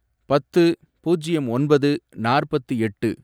பத்து, பூஜ்யம் ஒன்பது, நாற்பத்து எட்டு